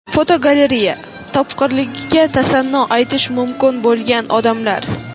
Fotogalereya: Topqirligiga tasanno aytish mumkin bo‘lgan odamlar.